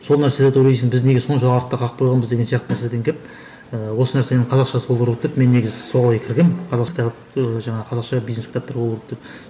сол нәрселерді ойлайсың біз неге сонша артта қалып қойғанбыз деген сияқты нәрседен келіп ііі осы нәрсенің қазақшасы болу керек деп мен негізі солай кіргенмін қазақ кітап ыыы жаңағы қазақша бизнес кітаптар болу керек деп